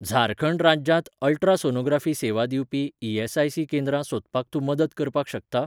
झारखंड राज्यांत अल्ट्रासोनोग्राफी सेवा दिवपी ई.एस.आय.सी केंद्रां सोदपाक तूं मदत करपाक शकता?